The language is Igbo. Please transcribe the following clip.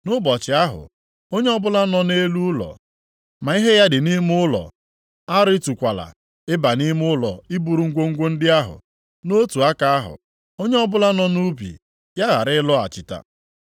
Nʼụbọchị ahụ, onye ọbụla nọ nʼelu ụlọ, ma ihe ya dị nʼime ụlọ, arịtukwala ịba nʼime ụlọ iburu ngwongwo ndị ahụ. Nʼotu aka ahụ, onye ọbụla nọ nʼubi, ya ghara ịlọghachita.